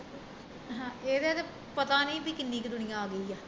ਇਹਦੇ ਤਾਂ ਪਤਾ ਨੀ ਵੀ ਕਿੰਨੀ ਕੁ ਦੁਨੀਆ ਆ ਗਈ ਆ